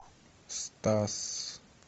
стас